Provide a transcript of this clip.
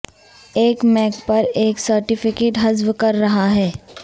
ایک میک پر ایک سرٹیفکیٹ حذف کر رہا ہے